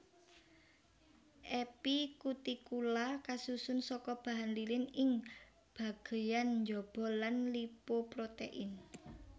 Epikutikula kasusun saka bahan lilin ing bagéyan njaba lan lipoprotein